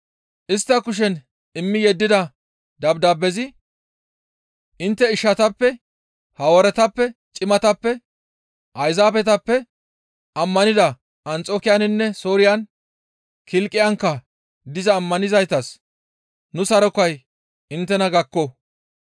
Istta kushen immi yeddida dabdaabezi, «Intte ishatappe, Hawaaretappe, cimatappe, Ayzaabetappe ammanida Anxokiyaninne Sooriyan, Kilqiyankka diza ammanizaytas nu sarokay inttena gakko.